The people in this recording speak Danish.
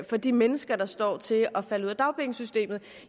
for de mennesker der står til at falde ud af dagpengesystemet